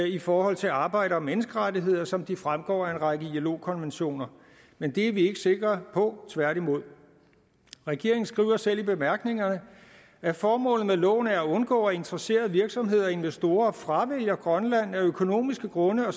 i forhold til arbejds og menneskerettigheder som det fremgår af en række ilo konventioner men det er vi ikke sikre på tværtimod regeringen skriver selv i bemærkningerne at formålet med loven er at undgå at interesserede virksomheder og investorer fravælger grønland af økonomiske grunde og